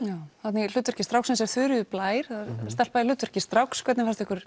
þarna í hlutverki stráksins er Þuríður Blær það er stelpa í hlutverki stráks hvernig fannst ykkur